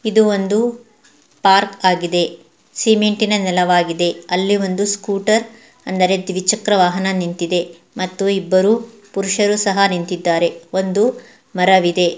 ಇದು ಒಂದು ಪಾರ್ಕ್ ಆಗಿದೆ ಸಿಮೆಂಟ್ ಇನ ನೆಲವಾಗಿದೆ ಅಲ್ಲಿ ಒಂದು ಸ್ಕೂಟರ್ ಅಂದರೆ ದ್ವಿಚಕ್ರ ವಾಹನ ನಿಂತಿದೆ ಮತ್ತು ಇಬ್ಬರು ಪುರುಷರು ಸಹ ನಿಂತಿದ್ದಾರೆ ಒಂದು ಮರವಿದೆ.